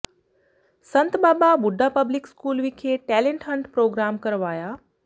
ਸੰਤ Baba Budha public school ਵਿਖੇ talent hunt programme ਕਰਵਾਇਆ